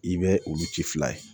I bɛ olu ci fila ye